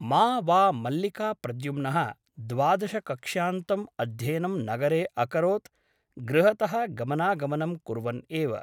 मा वा मल्लिका प्रद्युम्नः द्वादशकक्ष्यान्तम् अध्ययनं नगरे अकरोत् गृहतः गमनागमनं कुर्वन् एव ।